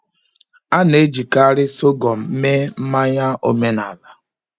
A na-ejikarị sọgọm mee mmanya omenala.